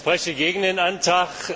Ich spreche gegen den Antrag.